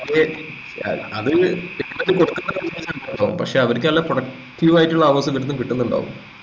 അത് കിട്ടൂന്നത് കൊടുക്കുന്നതു പക്ഷെ അവരിക്ക് നല്ല productive ആളുകളെടുത്തിന്ന് എന്തും കിട്ടുന്നുണ്ടാവും